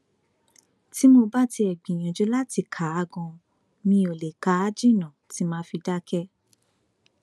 tí mo bá tiẹ gbìyànjú láti kà á ganan mi ó lè kà á jìnnà tí mà á fi dákẹ